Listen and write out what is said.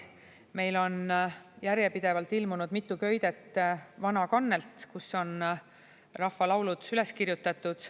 Meil on järjepidevalt ilmunud mitu köidet "Vana kannelt", kus on rahvalaulud üles kirjutatud.